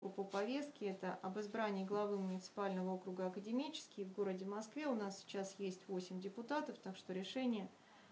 по повестке это об избрании главы муниципального округа академический в городе москве у нас сейчас есть восемь депутатов так что решение